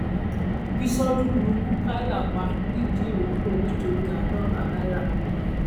bíṣọdún lu mukaila pa nìdírọkọ nítorí àádọta náírà